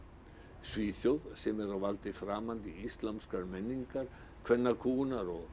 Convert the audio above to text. Svíþjóð sem er á valdi framandi íslamskar menningar kvennakúgunar og